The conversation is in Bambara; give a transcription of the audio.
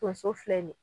Tonso filɛ nin ye